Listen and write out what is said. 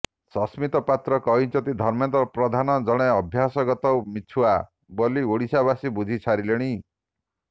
ସସ୍ମିତ ପାତ୍ର କହିଛନ୍ତି ଧର୍ମେନ୍ଦ୍ର ପ୍ରଧାନ ଜଣେ ଅଭ୍ୟାସଗତ ମିଛୁଆ େବାଲି ଓଡ଼ିଶାବାସୀ ବୁଝି ସାରିେଲଣି